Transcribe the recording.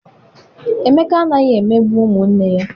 Emeka anaghị emegbu ụmụ nne ya.